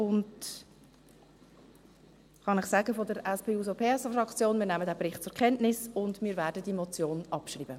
Ich kann Ihnen sagen: Wir von der SP-JUSOPSA-Fraktion nehmen diesen Bericht zur Kenntnis und werden diese Motion abschreiben.